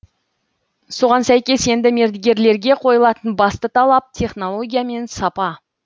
соған сәйкес енді мердігерлерге қойылатын басты талап технология мен сапа